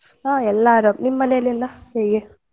ಹಾ ಎಲ್ಲ ಆರಾಮ್ ನಿಮ್ ಮನೇಲಿ ಎಲ ಹೇಗೆ?